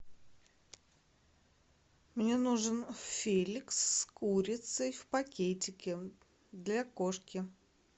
мне нужен феликс с курицей в пакетике для кошки